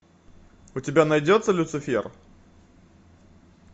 у тебя найдется люцифер